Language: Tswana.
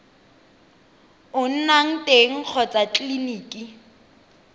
o nnang teng kgotsa tleleniki